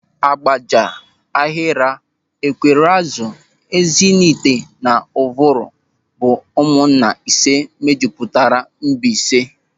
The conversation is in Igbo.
Ágbàjà, Áhịrà, Ékwéréazụ̀, Ézịnaị̀hite na Ụ̀vụ̀rụ̀ bụ ụmụnna ise mejupụtara Mbaise.